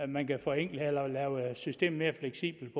man kan forenkle eller lave systemet mere fleksibelt